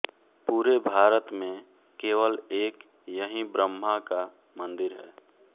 पूरे भारत में केवल एक यही ब्रह्मा का मन्दिर है